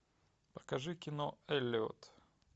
покажи кино эллиот